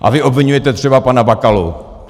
A vy obviňujete třeba pana Bakalu.